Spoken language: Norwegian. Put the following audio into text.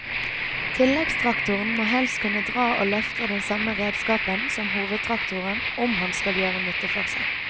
Tilleggstraktoren må helst kunne dra og løfte den samme redskapen som hovedtraktoren om han skal gjøre nytte for seg.